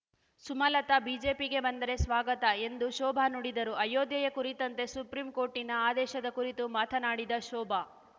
ಸುಮಲತಾ ಬಿಜೆಪಿಗೆ ಬಂದರೆ ಸ್ವಾಗತ ಎಂದು ಶೋಭಾ ನುಡಿದರು ಅಯೋಧ್ಯೆಯ ಕುರಿತಂತೆ ಸುಪ್ರೀಂ ಕೋರ್ಟಿನ ಆದೇಶದ ಕುರಿತು ಮಾತನಾಡಿದ ಶೋಭಾ